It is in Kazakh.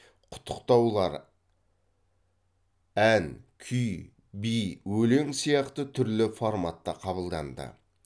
құттықтаулар ән күй би өлең сияқты түрлі форматта қабылданды